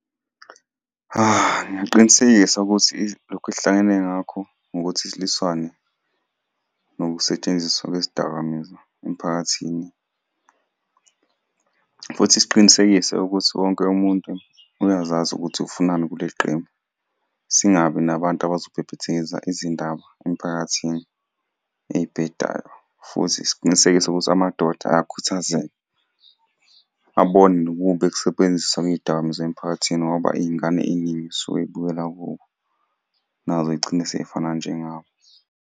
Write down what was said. Ngingaqinisekisa ukuthi lokhu esihlangene ngakho, ngokuthi silwiswane nokusetshenziswa kwezidakamizwa emphakathini, futhi siqinisekise ukuthi wonke umuntu uyazazi ukuthi ufunani kuleli qembu. Singabi nabantu abazobhebhethekisa izindaba emphakathini ey'bhedayo, futhi siqinisekise ukuthi amadoda ayakhuthazeka. Abone nobubi bokusebenziswa kwey'dakamizwa emphakathini, ngoba iy'ngane ey'ningi zisuke iy'bukela kubo, nazo iy'gcine sey'fana njengabo.